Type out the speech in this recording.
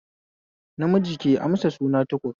Namiji ke amsa suna Tukur